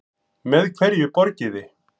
Með hverju borgiði?